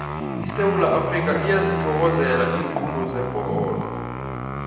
isewula afrikha iyazithokozela iinqundu zebholo